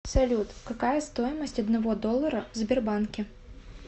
салют какая стоимость одного доллара в сбербанке